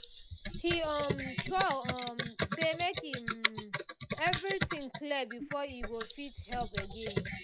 he um talk um say make um everything clear before e go fit help again